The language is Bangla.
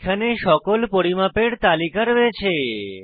এখানে সকল পরিমাপের তালিকা রয়েছে